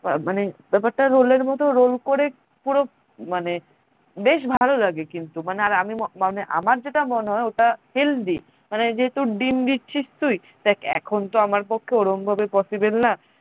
আহ মানে ব্যাপারটা roll এর মতো roll করে পুরো মানে বেশ ভালো লাগে কিন্তু মানে আর মানে আমার যেটা মনে হয় ওটা healthy মানে যেহেতু ডিম দিচ্ছিস তুই দেখ এখনতো আমার পক্ষে ওরম ভাবে possible না